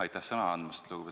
Aitäh sõna andmast!